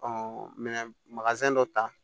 dɔ ta